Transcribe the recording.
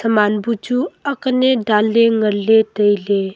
haman bu chu akne daanle nganle taile.